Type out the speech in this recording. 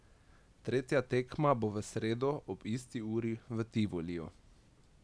Tretja tekma bo v sredo ob isti uri v Tivoliju.